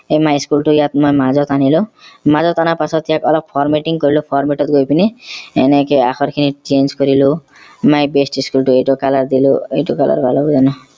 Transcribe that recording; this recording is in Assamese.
এই my school টো মই মাজত আনিলো মাজত অনাৰ পাছত ইয়াক অলপ formatting কৰিলো format ত গৈ পিনি এনেকে আখৰ খিনি change কৰিলো my best school টো এইটো color দিলো এইটো colour